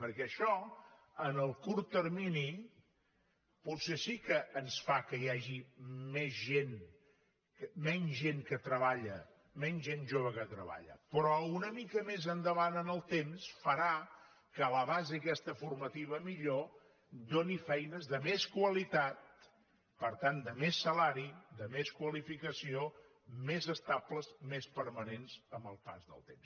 perquè això en el curt termini potser sí que ens fa que hi hagi menys gent jove que treballa però una mica més endavant en el temps farà que la base aquesta formativa millor doni feines de més qualitat per tant de més salari de més qualificació més estables més permanents amb el pas del temps